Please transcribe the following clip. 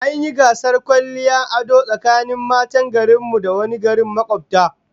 An yi gasar kwalliya da ado tsakanin matan garin mu da na wani gari makobta